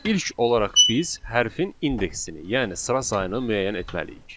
İlk olaraq biz hərfin indeksini, yəni sıra sayını müəyyən etməliyik.